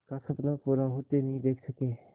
का सपना पूरा होते नहीं देख सके